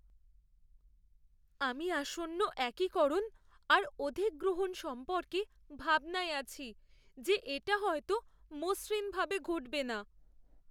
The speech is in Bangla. আমি আসন্ন একিকরণ আর অধিগ্রহণ সম্পর্কে ভাবনায় আছি যে এটা হয়তো মসৃণভাবে ঘটবে না।